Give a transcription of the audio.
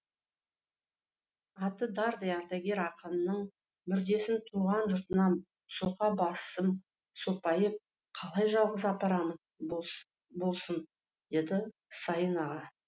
аты дардай ардагер ақынның мүрдесін туған жұртына соқа басым сопайып қалай жалғыз апарамын болсын деді сайын аға